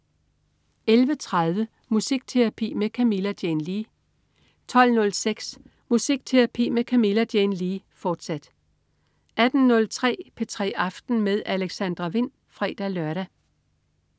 11.30 Musikterapi med Camilla Jane Lea 12.06 Musikterapi med Camilla Jane Lea, fortsat 18.03 P3 aften med Alexandra Wind (fre-lør)